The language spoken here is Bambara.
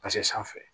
sanfɛ